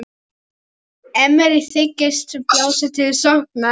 Þið hyggist blása til sóknar?